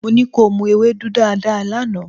Mo ní kí o mu ewédú dáadáa lánàá.